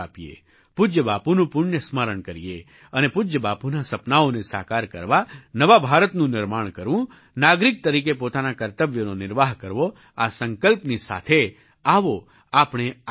પૂજ્ય બાપુનું પુણ્ય સ્મરણ કરીએ અને પૂજ્ય બાપુનાં સપનાંઓને સાકાર કરવા નવા ભારતનું નિર્માણ કરવું નાગરિક તરીકે પોતાનાં કર્તવ્યોનો નિર્વાહ કરવો આ સંકલ્પની સાથે આવો આપણે આગળ વધીએ